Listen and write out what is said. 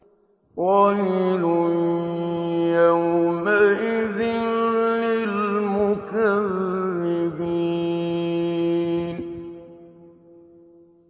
وَيْلٌ يَوْمَئِذٍ لِّلْمُكَذِّبِينَ